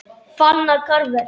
Fannar Karvel.